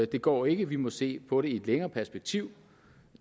det går ikke vi må se på det i et længere perspektiv